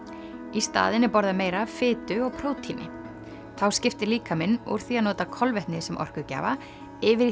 í staðinn er borðað meira af fitu og prótíni þá skiptir líkaminn úr því að nota kolvetni sem orkugjafa yfir í